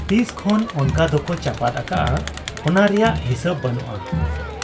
ᱛᱤᱥᱠᱷᱚᱱ ᱚᱱᱠᱟ ᱫᱚᱠᱚ ᱪᱟᱯᱟᱫ ᱟᱠᱟᱜ ᱟ ᱚᱱᱟ ᱨᱮᱭᱟᱜ ᱦᱤᱥᱟᱹᱵᱽ ᱵᱟᱹᱱᱩᱜ ᱟ ᱾